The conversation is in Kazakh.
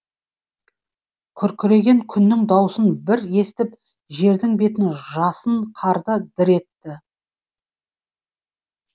күркіреген күннің даусын бір естіп жердің бетін жасын қарды дір етті